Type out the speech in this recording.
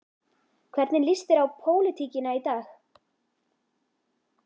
Hvernig lýst þér á pólitíkina í dag?